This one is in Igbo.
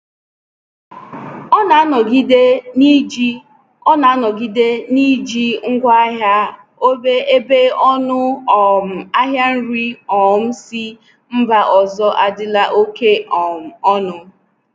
Ọ na-anọgide n’iji Ọ na-anọgide n’iji ngwa ahịa ógbè ebe ọnụ um ahịa nri um si mba ọzọ adịla oke um ọnụ.